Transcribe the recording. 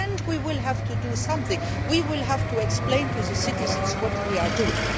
We will have to do something we will have to explain to the citizens what we are doing.